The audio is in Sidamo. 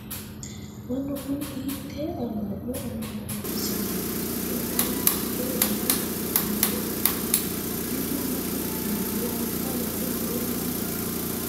mannu kuni hiittee amma'no ammanaasineeti? mannu baalu hiittoo dani uduunne uddire no? mitu mitu manni anga amade noori maati /